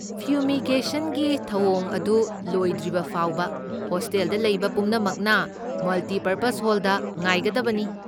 ꯐ꯭ꯌꯨꯃꯤꯒꯦꯁꯟꯒꯤ ꯊꯧꯑꯣꯡ ꯑꯗꯨ ꯂꯣꯏꯗ꯭ꯔꯤꯕ ꯐꯥꯎꯕ ꯍꯣꯁꯇꯦꯜꯗ ꯂꯩꯕ ꯄꯨꯝꯅꯃꯛꯅ ꯃꯜꯇꯤꯄꯔꯄꯖ ꯍꯣꯜꯗ ꯉꯥꯏꯒꯗꯕꯅꯤ꯫